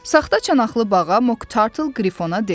Saxta çanaqlı bağa Mok Tartle Qrifona dedi.